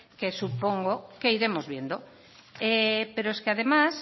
que supongo que iremos viendo pero es que además